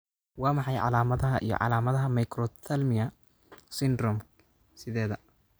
Waa maxay calaamadaha iyo calaamadaha Microphthalmia syndromke sideda?